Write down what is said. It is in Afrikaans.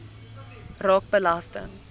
raak belasting